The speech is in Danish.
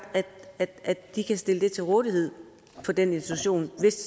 at de kan stille det til rådighed på den institution